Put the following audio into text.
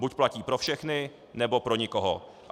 Buď platí pro všechny, nebo pro nikoho.